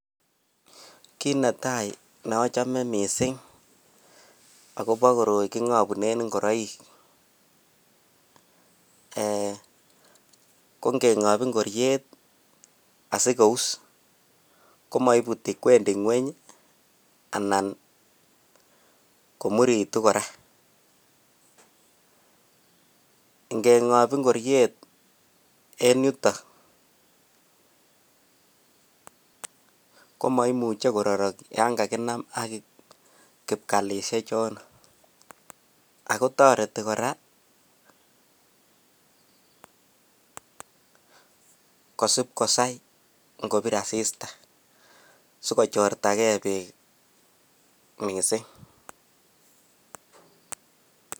Ki netai neachome mising akobo koroi kingabunen ingoroik ,kongengop ingoriet asikous komaibuti kwendi ngueny anan komuritu kora ngengob ingoriet en yuton komaimuche ko rorok yangakinam ak kipkalishek ichoton akotareti sipkosai yangalal asista sikojorta ke bek mising